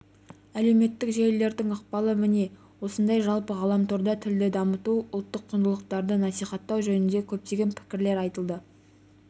әлеуметтік желілердің ықпалы міне осындай жалпы ғаламторда тілді дамыту ұлттық құндылықтарды насихаттау жөнінде көптеген пікірлер айтылады